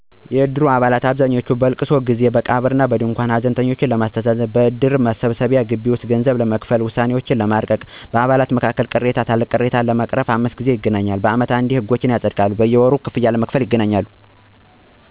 የእድር አባላት በአብዛኛው በእልቅሶ ጊዜ፦ በቀብር እና በድንኳን ሀዘንተኞችን ለማስተዛዘን፣ በእድር መሰብሰቢያ ግቢ ውስጥ ገንዘብ ለመክፈል፣ ውሳኔዎችን ለማርቀቅ፣ በአባላቱም መካከል ቅሬታ ካለ ቅሬታዎችን ለማስተካከል በአጠቃላይም 5 ጊዜ ያህል ይገናኛሉ። በሚገናኙበት ወቅትም ከላይ ለመግለጽ እንደሞከርኩት በሀዘን ጊዜ ከሀዘንተኞች ድንኳን በመገኘት ሀዘናቸውን ይካፈላሉ እንዲሁም በቀብር ሰዓት አብረዋቸው ይውላሉ። በእድር መሰብሰቢያ ግቢ ውስጥም በአመታዊ ስብሰባ ጊዜ ይሰበሰባሉ፤ ህጎችንም ያፀድቃሉ። በሌላው ደግሞ ወርሀዊ ገንዘብ ለመክፈል ይገናኛሉ።